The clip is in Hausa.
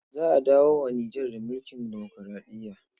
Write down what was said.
Za a dawo wa Nijar da mulkin demokuraɗiya.